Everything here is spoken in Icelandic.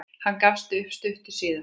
Hann gafst upp stuttu síðar.